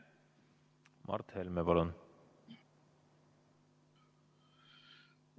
Mart Helme, palun!